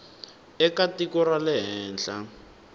eka tiko ra le handle